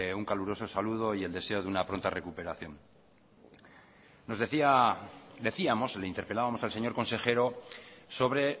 un caluroso saludo y el deseo de una pronta recuperación decíamos le interpelábamos al señor consejero sobre